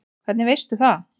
Hvernig veistu það?